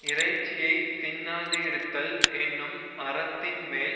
இறைச்சியை தின்னாது இருத்தல் என்னும் அறத்தின் மேல்